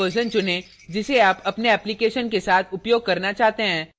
java का version चुनें जिसे आप अपने application के साथ उपयोग करना चाहते हैं